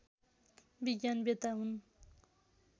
विज्ञान वेत्ता हुन्